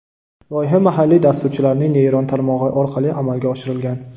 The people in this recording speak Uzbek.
Loyiha mahalliy dasturchilarning neyron tarmog‘i orqali amalga oshirilgan.